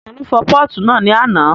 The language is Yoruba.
Ta ló fọ pọ́ọ̀tù náà ní àná?